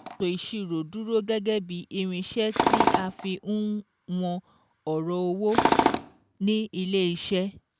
Ètò ìsirò dúró gẹ́gẹ́ bíi irinsẹ́ tí a fi ń won ọ̀rọ̀ owó ni ilé iṣẹ́